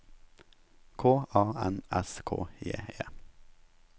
K A N S K J E